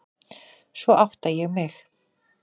Svo átta ég mig.